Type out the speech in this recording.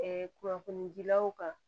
kunnafonidilaw kan